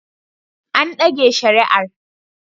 An dage shari'ar